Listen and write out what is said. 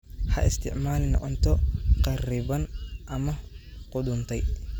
Ha isticmaalin cunto kharriban ama qudhuntay.